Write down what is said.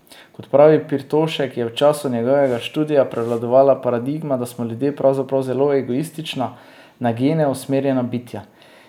Kot pravi Pirtošek, je v času njegovega študija prevladovala paradigma, da smo ljudje pravzaprav zelo egoistična, na gene usmerjena bitja.